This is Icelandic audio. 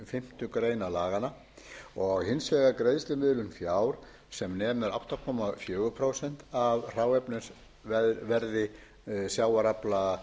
fimmtu grein laganna og hins vegar greiðslumiðlun fjár sem nemur átta komma fjögur prósent af hráefnisverði sjávarafla